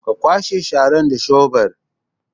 Ka kwashe sharan da shebur